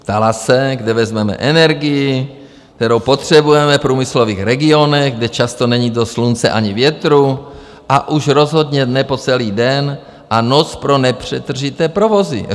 Ptala se, kde vezmeme energii, kterou potřebujeme v průmyslových regionech, kde často není dost slunce ani větru, a už rozhodně ne po celý den a noc pro nepřetržité provozy.